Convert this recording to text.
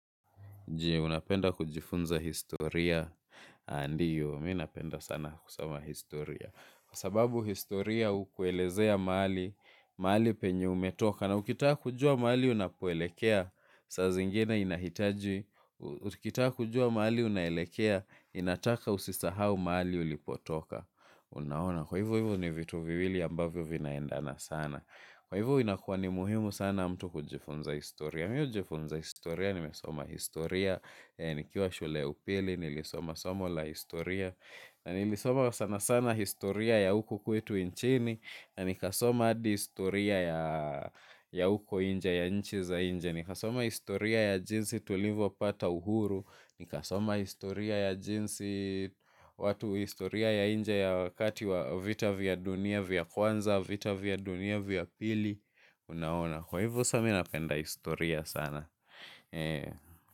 Je, unapenda kujifunza historia, ndiyo, minapenda sana kusoma historia. Kwa sababu historia ukuelezea mahali, mahali penye umetoka. Na ukitaka kujua mahali unapoelekea, saa zingine inahitaji. Ukitaka kujua mahali unaelekea, inataka usisahau mahali ulipotoka. Unaona, kwa hivu hivu ni vitu vivili ambavyo vinaendana sana. Kwa hivu inakuwa ni muhimu sana mtu kujifunza historia. Mii hujifunza historia, nimesoma historia, nikiwa shule ya upili, nilisoma somo la historia. Na nilisoma sana sana historia ya uko kwetu inchini. Na nikasoma adi historia ya uko inje, ya nchi za inje. Nikasoma historia ya jinsi tulivo pata uhuru. Nikasoma historia ya jinsi, watu historia ya inje ya wakati wa vita vya dunia vya kwanza, vita vya dunia vya pili una ona kwahivo saa mi na penda historia sana.